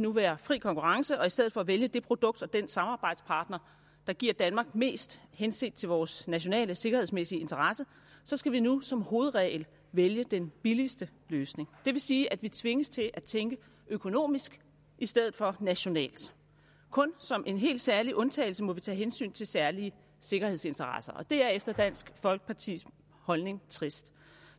nu være fri konkurrence og i stedet for at vælge det produkt og den samarbejdspartner der giver danmark mest henset til vores nationale sikkerhedsmæssige interesse så skal vi nu som hovedregel vælge den billigste løsning det vil sige at vi tvinges til at tænke økonomisk i stedet for nationalt kun som en helt særlig undtagelse må vi tage hensyn til særlige sikkerhedsinteresser det er efter dansk folkepartis mening trist